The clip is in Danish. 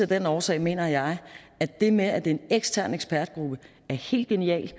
den årsag mener jeg at det med at det er en ekstern ekspertgruppe er helt genial